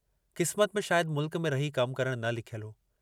किस्मत में शायद मुल्क में रही कमु करणु न लिखियलु हो।